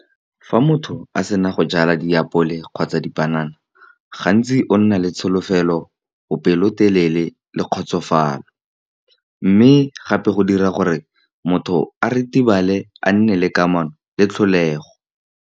Fa motho a sena go jala diapole kgotsa dipanana, gantsi o nna le tsholofelo, bo pelotelele le kgotsofalo, mme gape go dira gore motho a ritibale a nne le kamano le tlholego.